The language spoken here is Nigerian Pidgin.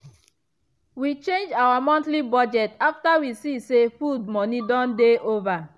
we change our monthly budget after we see say food money dey over.